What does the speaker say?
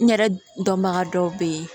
N yɛrɛ dɔnbaga dɔw bɛ yen